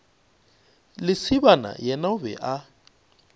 lesibana yena o be a